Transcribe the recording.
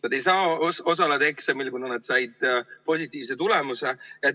Nad ei saa osaleda eksamil, kuna nad said positiivse tulemuse.